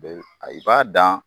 B ɛ, a i b'a dan.